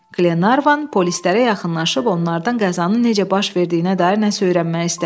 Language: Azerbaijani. Qlenarvan polislərə yaxınlaşıb onlardan qəzanın necə baş verdiyinə dair nəsə öyrənmək istədi.